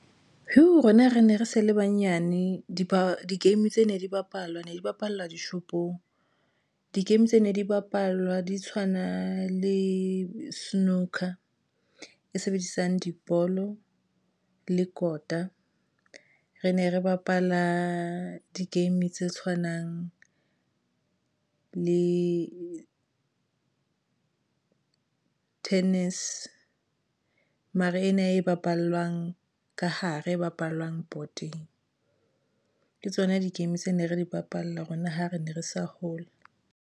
Rona re ne re sa le banyane, di ba di-game tse ne di bapalwa, ne di bapallwa dishopong di-game tse ne di bapalwa di tshwana le Snooker e sebedisang dibolo le kota. Re ne re bapala di-game tse tshwanang le tennis mara ena e bapalwang ka hare e bapalwang bhoteng, ke tsona di-game tse ne re di bapala rona ha re ne re sa hole.